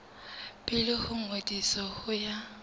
pele ho ngodiso ho ya